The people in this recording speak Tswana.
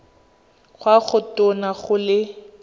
kwa go tona go le